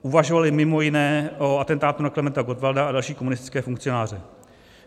Uvažovali mimo jiné o atentátu na Klementa Gottwalda a další komunistické funkcionáře.